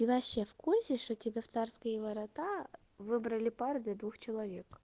ты вообще в курсе что тебе в царские ворота выбрали пару для двух человек